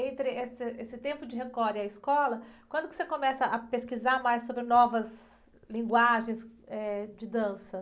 E entre esse, esse tempo de Record e a escola, quando que você começa a pesquisar mais sobre novas linguagens, eh, de dança?